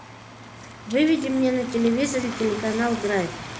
выведи мне на телевизоре телеканал драйв